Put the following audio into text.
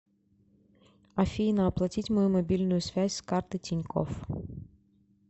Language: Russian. афина оплатить мою мобильную связь с карты тинькофф